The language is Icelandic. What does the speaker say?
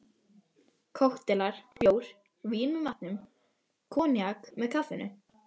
Kokteilar, bjór, vín með matnum, koníak með kaffinu.